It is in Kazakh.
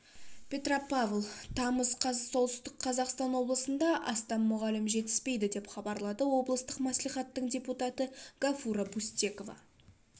петропавл тамыз қаз солтүстік қазақстан облысында астам мұғалім жетіспейді деп хабарлады облыстық маслихаттың депутаты гафура бустекова